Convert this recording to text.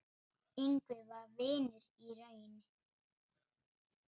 Ingvi var vinur í raun.